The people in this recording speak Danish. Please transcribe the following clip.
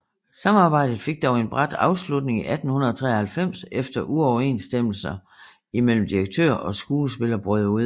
Samarbejdet fik dog en brat afslutning i 1893 efter uoverensstemmelser imellem direktør og skuespiller brød ud